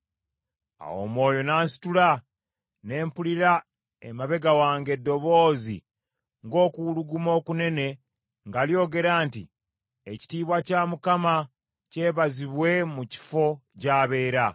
Awo Omwoyo n’ansitula, ne mpulira emabega wange eddoboozi ng’okuwuluguma okunene nga lyogera nti, “Ekitiibwa kya Mukama kyebazibwe mu kifo gy’abeera.”